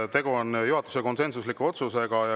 Tegu on juhatuse konsensusliku otsusega.